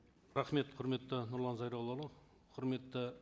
рахмет құрметті нұрлан зайроллаұлы құрметті